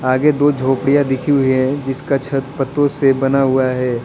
आगे दो झोपड़ियां दिखी हुई है जिसका छत पतों से बना हुआ है।